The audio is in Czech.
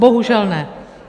Bohužel ne.